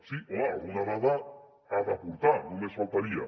sí home alguna dada ha d’aportar només faltaria